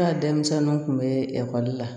Ne ka denmisɛnninw kun bɛ ekɔli la